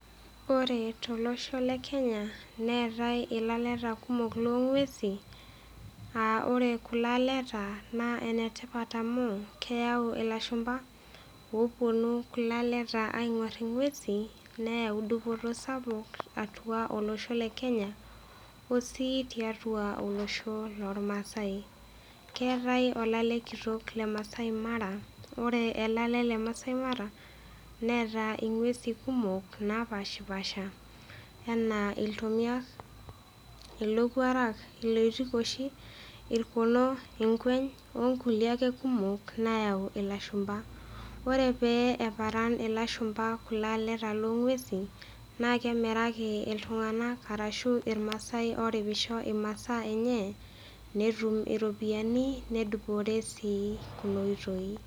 ore tolosho le kenya neetae ilaleta kumok loo ng'uesin, aa ore kulo aleta naa en tipat amu keyau ilashumpa oopunu ilaleta aingor ing'uesin neyau dupoto sapuk atua olosho, le kenya. osii tiatua olsoho loormaasae. keetae olalale kitok le maasai mara. ore olale le maasai mara. neeta inguesei kumok naapashipaasha anaa iltomiak, ilowuorak, ilotikoshi onkulie ake kumok. neyau ilashumpa, orenpeyie eparan ilashumpa kulo aleta loo ng'uesin naa kemiraki iltunganak arshu irmaasa ooripisho imasaa enye netum iropiyiani nedupore sii nena oitoi.